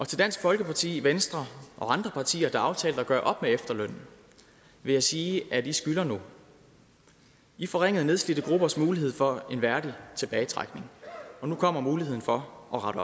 til dansk folkeparti venstre og andre partier der har aftalt at gøre op med efterlønnen vil jeg sige at i skylder nu i forringede nedslidte gruppers mulighed for en værdig tilbagetrækning og nu kommer muligheden for at rette